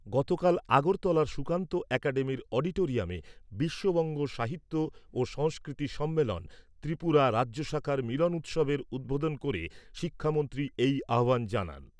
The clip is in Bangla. গতকাল আগরতলার সুকান্ত একাডেমির অডিটোরিয়ামে বিশ্ববঙ্গ সাহিত্য ও সংস্কৃতি সম্মেলন, ত্রিপুরা রাজ্য শাখার মিলন উৎসবের উদ্বোধন করে শিক্ষামন্ত্রী এই আহ্বান জানান।